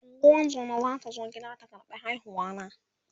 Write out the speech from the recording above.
ungozuma zata zo gida ta ƙarɓa haihuwa na